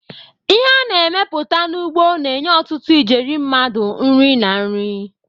Ihe a na-emepụta n'ugbo na-enye ọtụtụ ijeri mmadụ nri na nri.